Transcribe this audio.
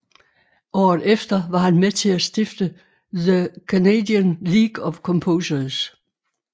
Året efter var han med til at stifte The Canadian League of Composers